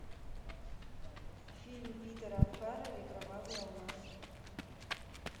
фильм питера фаррелли кровавый алмаз